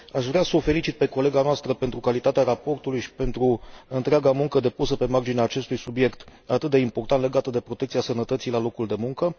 Aș vrea să o felicit pe colega noastră pentru calitatea raportului și pentru întreaga muncă depusă pe marginea acestui subiect atât de important, legat de protecția sănătății la locul de muncă.